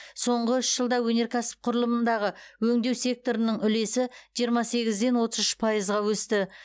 соңғы үш жылда өнеркәсіп құрылымындағы өңдеу секторының үлесі жиырма сегізден отыз үш пайызға өсті